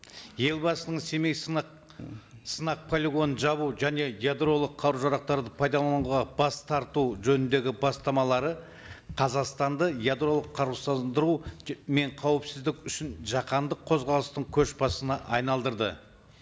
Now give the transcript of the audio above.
елбасының семей сынақ сынақ полигоның жабу және ядролық қару жарақтарды пайдалануға бас тарту жөніндегі бастамалары қазақстанды ядролық мен қауіпсіздік үшін жаһанды қозғалыстың көшбасшысына айналдырды